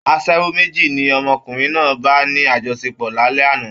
Aṣẹ́wó méjì ni ọmọkùnrin náà bà ní àjọṣepọ̀ lálẹ́ àná